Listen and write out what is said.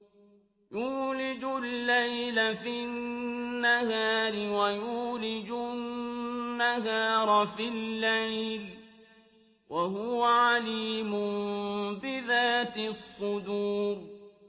يُولِجُ اللَّيْلَ فِي النَّهَارِ وَيُولِجُ النَّهَارَ فِي اللَّيْلِ ۚ وَهُوَ عَلِيمٌ بِذَاتِ الصُّدُورِ